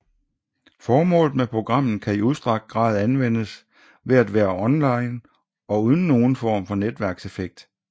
Formålet med programmet kan i udstrakt grad anvendes ved at være offline og uden for nogen form for netværkseffekt